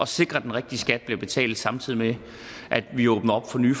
sikre at den rigtige skat bliver betalt samtidig med at vi åbner op for nye